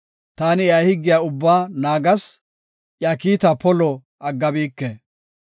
Taani iya higgiya ubbaa naagas; iya kiitaa polo aggabike.